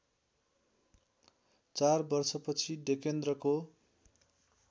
चार वर्षपछि डेकेन्द्रको